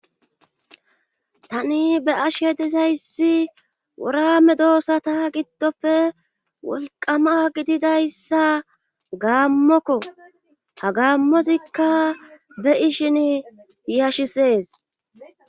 tani be ashe disayssi worame doossata giddofe wolqama gididayssa gaammokko ha gaammozikka be ishin yashisees